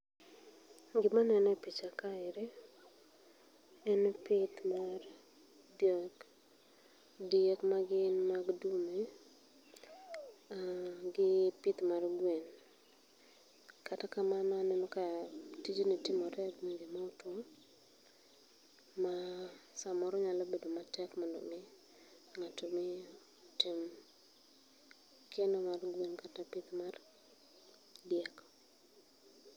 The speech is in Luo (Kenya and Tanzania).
Gima aneno e picha aeri en pith mar diek. Diek magin mag dume aah, gi pith mar gwen. Kata kamano aneno ka tijni timore e gwenge ma otuo ma samoro nyalo bedo matek mondo mi ng'ato mi otim keno mar diel kata pith mar diek